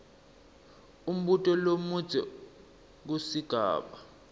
umbuto lomudze kusigaba